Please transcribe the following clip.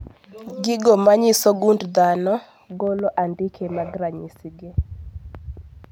Gigo manyiso gund dhano golo andike mag ranyisi gi